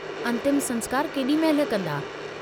अन्तिम संस्कार केडी महिल कंदा।